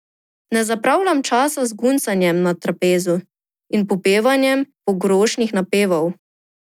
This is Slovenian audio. Ne zapravljam časa z guncanjem na trapezu in popevanjem pogrošnih napevov.